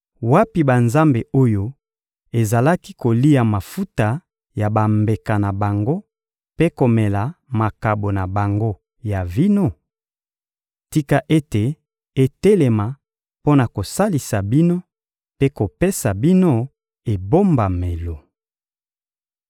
Wapi banzambe oyo ezalaki kolia mafuta ya bambeka na bango mpe komela makabo na bango ya vino? Tika ete etelema mpo na kosalisa bino mpe kopesa bino ebombamelo!